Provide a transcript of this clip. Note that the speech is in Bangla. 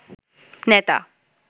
নেতা